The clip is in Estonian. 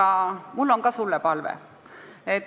Aga mul on sulle ka palve.